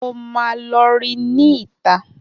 Mo máa lọ rí ní ìta